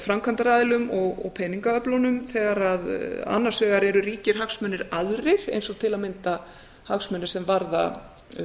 framkvæmdaraðilum og peningaöflunum þegar annars vegar eru ríkir hagsmunir aðrir eins og til að mynda hagsmunir sem varða